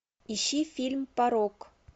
ищи фильм порок